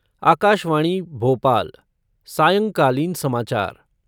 आकाशवाणी, भोपाल सायंकालीन समाचार